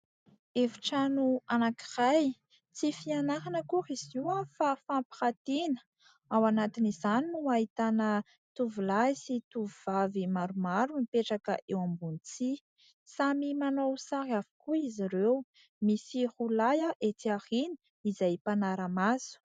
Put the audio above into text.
Efitrano anankiray, tsy fianarana akory izy itony fa fampirantiana. Ao anatin'izany no ahitana tovolahy sy tovovavy maromaro mipetraka eo ambony tsihy. Samy manao sary avokoa izy ireo. Misy roalahy ety aoriana izay mpanara-maso.